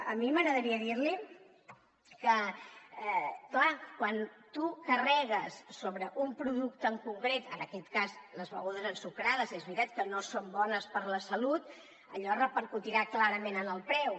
a mi m’agradaria dir li que clar quan tu carregues sobre un producte en concret en aquest cas les begudes ensucrades és veritat que no són bones per a la salut allò repercutirà clarament en el preu